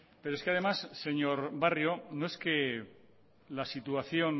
pero es que además señor barrio no es que la situación